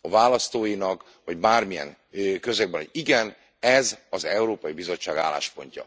a választóinak, vagy bármilyen közegben, hogy igen ez az Európai Bizottság álláspontja.